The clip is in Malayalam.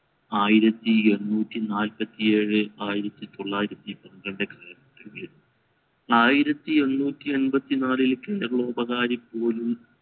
ആയിരത്തി എണ്ണൂറ്റി നാല്പത്തി ഏഴ് ആയിരത്തി തൊള്ളായിരത്തി പന്ത്രണ്ട് കാലഘട്ടത്തിൽ ആയിരത്തി എണ്ണൂറ്റി എമ്പതി നാലിൽ കേരളപോകാരി പോലും